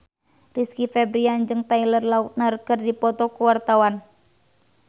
Rizky Febian jeung Taylor Lautner keur dipoto ku wartawan